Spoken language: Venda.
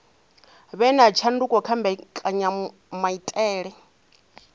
vhe na tshanduko kha mbekanyamaitele